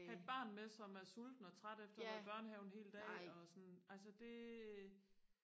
have et barn med som er sulten og træt efter og have været i børnehave en hel dag altså det